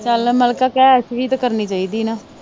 ਚਲ ਮਲਿਕਾ ਕਹਿ ਐਸ਼ ਵੀ ਤਾ ਕਰਨੀ ਚਾਹੀਦੀ ਨਾ।